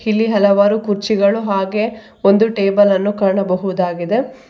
ಈ ಹಲವಾರು ಕುರ್ಚಿಗಳು ಹಾಗೆ ಒಂದು ಟೇಬಲ್ ಅನ್ನು ಕಾಣಬಹುದಾಗಿದೆ.